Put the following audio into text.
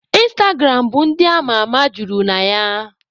Ịnstagram bụ ndị ama ama juru na ya.